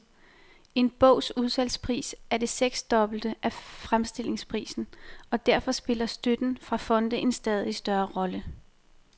En bogs udsalgspris er det seksdobbelte af fremstillingsprisen, og derfor spiller støtten fra fonde en stadig større rolle.